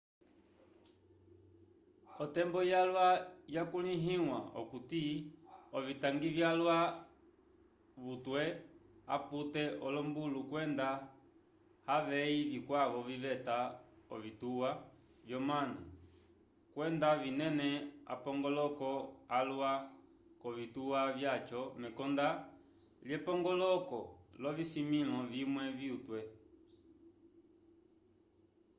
otembo yalwa yakulĩhiwa okuti ovitangi vyalwa vyutwe apute olombulu kwenda avey vikwavo viveta ovituwa vyomanu kwenda vinene apongoloko alwa k'ovituwa vyaco mekonda lyepongoloko lyovisimĩlo vimwe vutwe